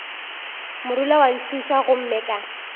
morula wa ntšhutha gomme ka